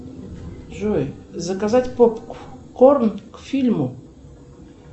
джой заказать попкорн к фильму